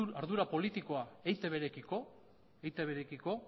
ardura politikoa eitbrekiko